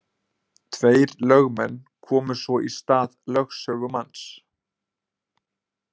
Tveir lögmenn komu svo í stað lögsögumanns.